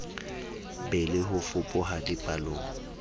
be le ho fapoha dipallong